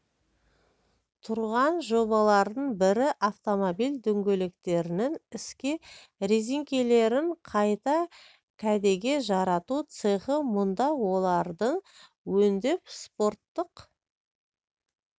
тұрған жобалардың бірі автомобиль дөңгелектерінің ескі рәзіңкелерін қайта кәдеге жарату цехы мұнда оларды өңдеп спорттық